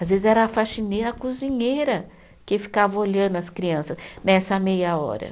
Às vezes era a faxineira, a cozinheira que ficava olhando as crianças nessa meia hora.